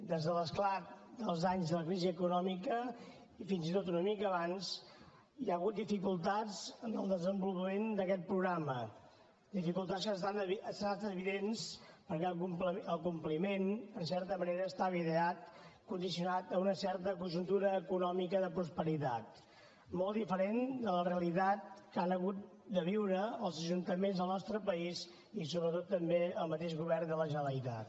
des de l’esclat dels anys de la crisi econòmica i fins i tot una mica abans hi ha hagut dificultats en el desenvolupament d’aquest programa dificultats que s’han anat fent evidents perquè el compliment en certa manera estava ideat condicionat per una certa conjuntura econòmica de prosperitat molt diferent de la realitat que han hagut de viure els ajuntaments del nostre país i sobretot també el mateix govern de la generalitat